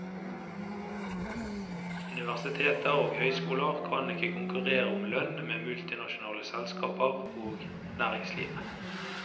Universiteter og høyskoler kan ikke konkurrere om lønn med multinasjonale selskaper og næringslivet.